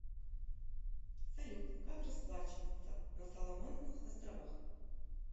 салют как расплачиваться на соломоновых островах